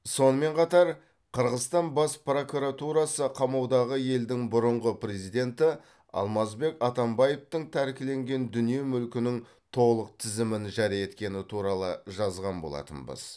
сонымен қатар қырғызстан бас прокуратурасы қамаудағы елдің бұрынғы президенті алмазбек атамбаевтың тәркіленген дүние мүлкінің толық тізімін жария еткені туралы жазған болатынбыз